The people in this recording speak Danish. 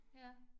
Ja